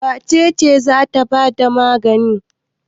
Wace ce za ta ba da magani?